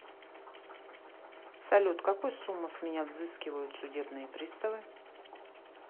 салют какую сумму с меня взыскивают судебные пристовы